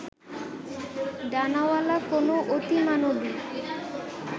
ডানাওয়ালা কোনো অতিমানবী